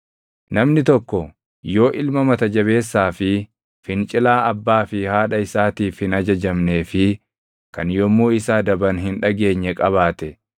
Namni tokko yoo ilma mata jabeessaa fi fincilaa abbaa fi haadha isaatiif hin ajajamnee fi kan yommuu isa adaban hin dhageenye qabaate,